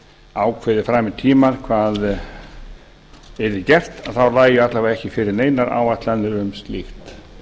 ákveðið fram í tímann hvað yrði gert þá lægju alla vega ekki fyrir neinar áætlanir um slíkt